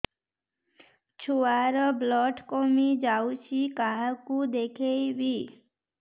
ଛୁଆ ର ବ୍ଲଡ଼ କମି ଯାଉଛି କାହାକୁ ଦେଖେଇବି